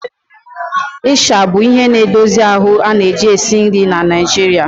Ịsha bụ ihe na-edozi ahụ a na-eji esi nri na Nigeria